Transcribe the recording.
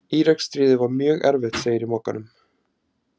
Íraksstríðið var mjög erfitt Segir í Mogganum.